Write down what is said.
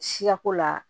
Siyako la